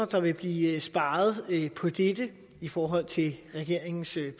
der vil blive sparet på dette i forhold til regeringens